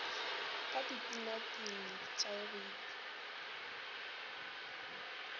ka di binabine ka boipshino